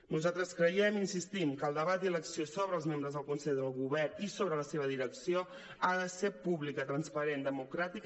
nosaltres creiem hi insistim que el debat i l’elecció sobre els membres del consell de govern i sobre la seva direcció ha de ser pública transparent i democràti·ca